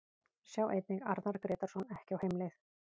Sjá einnig: Arnar Grétarsson ekki á heimleið